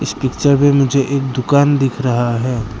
इस पिक्चर में मुझे एक दुकान दिख रहा है।